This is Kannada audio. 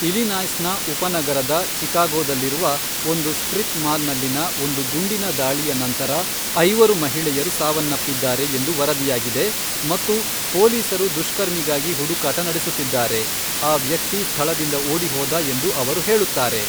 ಇಲಿನಾಯ್ಸ್ನ ಉಪನಗರದ ಚಿಕಾಗೋದಲ್ಲಿರುವ ಒಂದು ಸ್ಟ್ರಿಪ್ ಮಾಲ್ನಲ್ಲಿನ ಒಂದು ಗುಂಡಿನ ದಾಳಿಯ ನಂತರ ಐವರು ಮಹಿಳೆಯರು ಸಾವನ್ನಪ್ಪಿದ್ದಾರೆ ಎಂದು ವರದಿಯಾಗಿದೆ ಮತ್ತು ಪೊಲೀಸರು ದುಷ್ಕರ್ಮಿಗಾಗಿ ಹುಡುಕಾಟ ನಡೆಸುತ್ತಿದ್ದಾರೆ, ಆ ವ್ಯಕ್ತಿ ಸ್ಥಳದಿಂದ ಓಡಿಹೋದ ಎಂದು ಅವರು ಹೇಳುತ್ತಾರೆ.